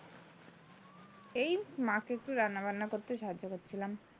এই মাকে একটু রান্নাবান্না করতে সাহায্য করছিলাম।